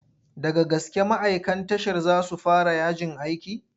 Daga gaske ma'aikan tashar za su fara yajin aiki?